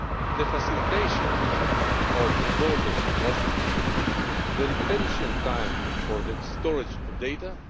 the facilitation of border crossings the retention time for the storage of data